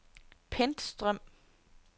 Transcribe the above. Pentstrøm